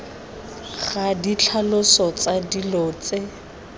ga ditlhaloso tsa dilo tse